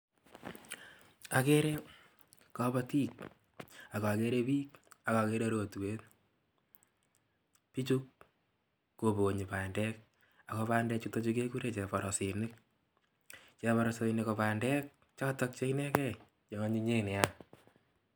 Akere kobotik ak okere biik ak okere rotwet, bichu kobonyi bandek ak ko bandechuton kekuren cheborosinik, cheborosinik ko bandek chotok che inekee cheonyinyen neaa.